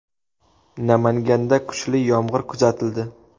Namanganda kuchli yomg‘ir kuzatildi .